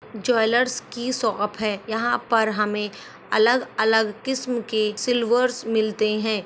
Jewellers की shop है यहाँ पर हमें अलग अलग किस्म के सिलव्हर्स मिलते है।